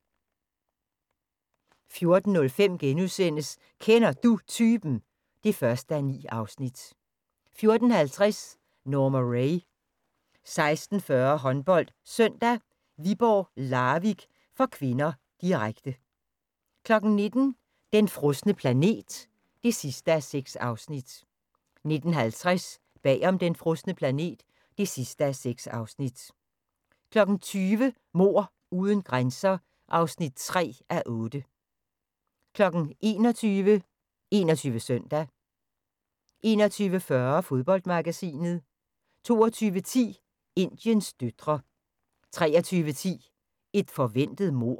14:05: Kender Du Typen? (1:9)* 14:50: Norma Rae 16:40: HåndboldSøndag: Viborg-Larvik (k), direkte 19:00: Den frosne planet (6:6) 19:50: Bag om den frosne planet (6:6) 20:00: Mord uden grænser (3:8) 21:00: 21 Søndag 21:40: Fodboldmagasinet 22:10: Indiens døtre 23:10: Et forventet mord